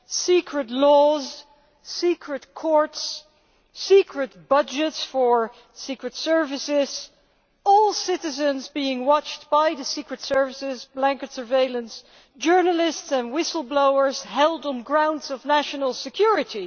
secret laws, secret courts, secret budgets for secret services, all citizens being watched by the secret services, blanket surveillance, journalists and whistleblowers held on grounds of national security